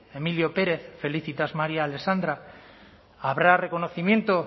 emilio párez félicitas maría alexandra habrá reconocimiento